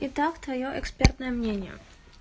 и так твоё экспертное мнение